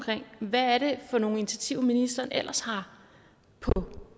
hvad det er for nogle initiativer ministeren ellers har på